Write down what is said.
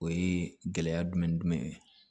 O ye gɛlɛya jumɛn ni jumɛn ye